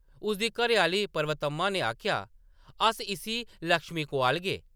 उʼदी, घरैआह्‌ली पर्वतम्मा ने आखेआ, “अस इस्सी लक्ष्मी कोआलगे ।